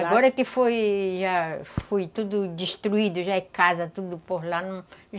Agora que foi tudo destruído, já é casa, tudo por lá. Não